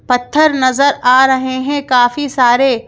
पत्थर नजर आ रहे हैं काफी सारे--